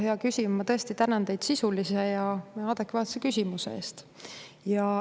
Hea küsija, ma tõesti tänan teid sisulise ja adekvaatse küsimuse eest.